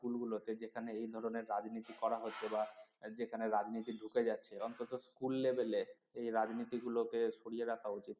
school গুলোতে যেখানে এই ধরনের রাজনীতি করা হচ্ছে বা যেখানে রাজনীতি ঢুকে যাচ্ছে অন্তত school level এ এই রাজনীতিগুলোকে সরিয়ে রাখা উচিত